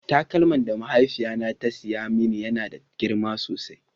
taƙalman da mahaifiƴa na ta siya mani ya na da girma sosai